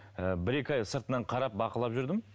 ііі бір екі ай сыртынан қарап бақылап жүрдім